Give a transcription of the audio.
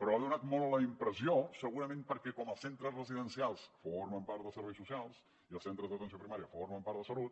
però ha donat molt la impressió segurament perquè com els centres residencials formen part dels serveis socials i els centres d’atenció primària formen part de salut